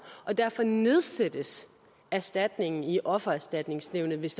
og derfor nedsættes erstatningen i offererstatningsnævnet hvis